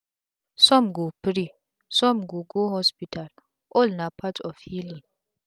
sum go pray sum go go hospital all na part of healing